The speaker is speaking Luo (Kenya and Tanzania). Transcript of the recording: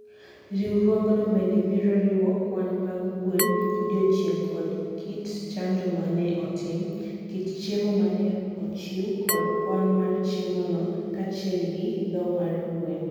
Riwruogno bende biro riwo kwan mag gwen, odiechieng' kod kit chanjo ma ne otim, kit chiemo ma ne ochiw kod kwan mar chiemono, kaachiel gi tho mar gwen.